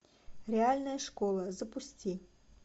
реальная школа запусти